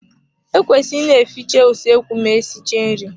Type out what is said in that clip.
E kwesịrị ị ne-efiche usoekwu ma esichaa nri.